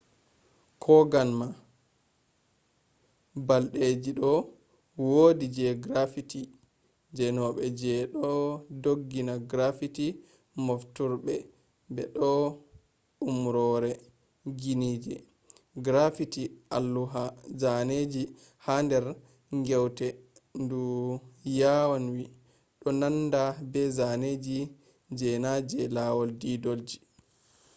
kogan ma balɗeji ɗo wodi je graffiti zanobe je ɗon ngondi graffiti mofturɓe be do umrore” ginije. graffiti alluha zaneji ha dar ngewte ndu yawanwi do nanda be zaneji je na je lawal didolji